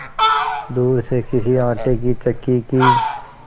दूर से किसी आटे की चक्की की